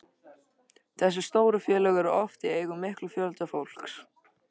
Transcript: Þessi stóru félög eru oft í eigu mikils fjölda fólks.